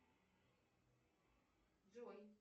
джой